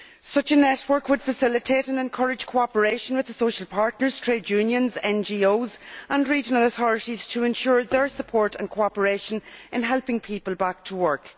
Such a network would facilitate and encourage cooperation with the social partners, trade unions, NGOs and regional authorities to ensure their support and cooperation in helping people back to work.